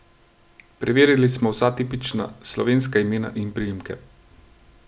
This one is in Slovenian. Preverili smo vsa tipična slovenska imena in priimke.